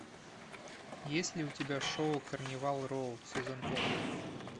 есть ли у тебя шоу карнивал роу сезон пять